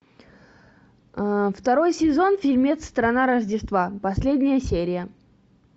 второй сезон фильмец страна рождества последняя серия